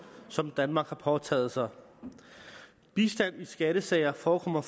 som danmark har påtaget sig bistand i skattesager forekommer